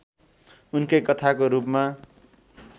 उनकै कथाको रूपमा